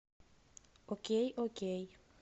окей окей